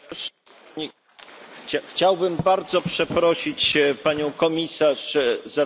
Chciałbym bardzo przeprosić Panią Komisarz za zachowanie moich kolegów.